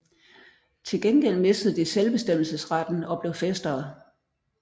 Til gengæld mistede de selvbestemmelsesretten og blev fæstere